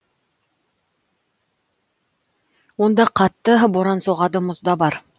онда қатты боран соғады мұз да бар